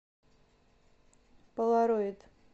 полароид